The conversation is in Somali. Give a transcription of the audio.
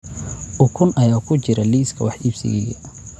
Ukun ayaa ku jira liiska wax iibsigayga